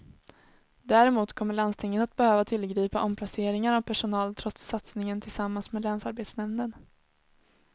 Däremot kommer landstinget att behöva tillgripa omplaceringar av personal trots satsningen tillsammans med länsarbetsnämnden.